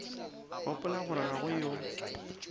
gopola gore ga go yo